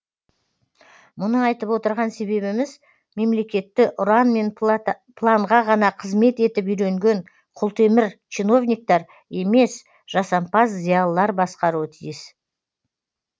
мұны айтып отырған себебіміз мемлекетті ұран мен планға ғана қызмет етіп үйренген құлтемір чиновниктер емес жасампаз зиялылар басқаруы тиіс